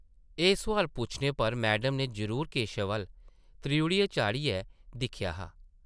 एह् सोआल पुच्छने पर मैडम नै जरूर केशव अʼल्ल त्रिउढ़ी चाढ़ियै दिक्खेआ हा ।